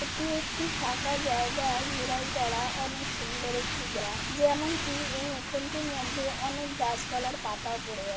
এটি একটি ফাঁকা জায়গা ঘেরাই করা অনেক সুন্দর একটি জা যেমন কি এই উঠোনটির মধ্যে অনেক গাছ পালার পাতা পড়ে আছে।